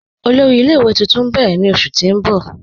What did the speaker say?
Ọlọ́rì ilẹ̀-ìwé tuntun n bẹ̀rẹ̀ ni oṣù ti n bọ̀.